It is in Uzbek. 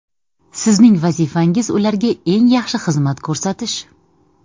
Sizning vazifangiz ularga eng yaxshi xizmat ko‘rsatish.